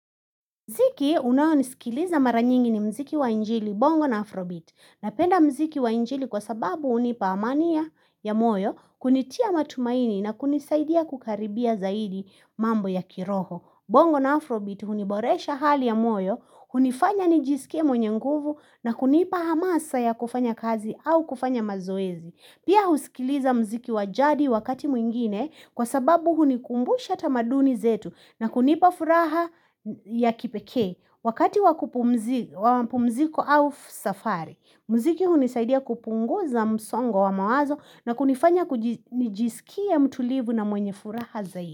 Mziki unao nisikiliza mara nyingi ni mziki wa njili bongo na afrobeat napenda mziki wa njili kwa sababu hunipa amani ya moyo kunitia matumaini na kunisaidia kukaribia zaidi mambo ya kiroho. Bongo na afrobeat huniboresha hali ya moyo, hunifanya nijisike mwenye nguvu na kunipa hamasa ya kufanya kazi au kufanya mazoezi. Pia husikiliza mziki wa jadi wakati mwingine kwa sababu hunikumbusha tamaduni zetu na kunipa furaha ya kipekee wakati wa kupumzika au safari. Mziki hunisaidia kupunguza msongo wa mawazo na kunifanya kujisikia mtulivu na mwenye furaha zaidi.